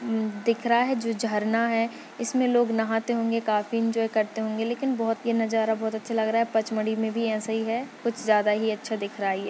हम्म दिख रहा है जो झरना है इसमे लोग नहाते होंगे काफी एंजॉय करते होंगे लेकिन बहुत ये नजारा बहुत अच्छा लग रहा है पचमड़ी मे भी ऐसा ही है कुछ ज्यादा ही अच्छा दिख रहा है ये--